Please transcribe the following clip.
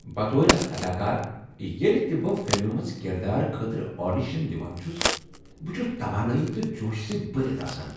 بطور اكھ اداکار، ییٚلہ تہِ بہٕ فلمہ منٛز کردارٕ خٲطرٕ آڈیشن دوان چھس، بہٕ چھس توانٲیی تہٕ جوشہٕ سۭتہِ بھرتھ آسان۔